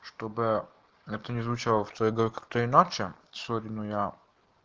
что бы это ни звучало в твоей голове как-то иначе сегодня у меня